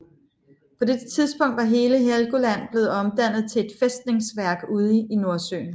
På dette tidspunkt var hele Helgoland blevet omdannet til et fæstningsværk ude i Nordsøen